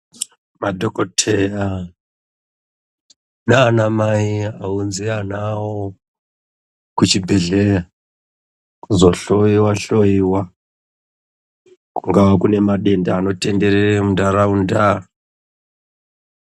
Madhokodheya nanamai ounze ana awo kuchibhedhlera kuzohloiwa-hloiwa, kungava kune madenda anotenderera mundaraunda.